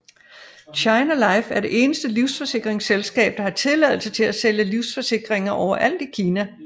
China Life er det eneste livsforsikringsselskab der har tilladelse til at sælge livsforsikringer overalt i Kina